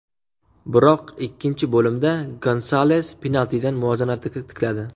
Biroq ikkinchi bo‘limda Gonsales penaltidan muvozanatni tikladi.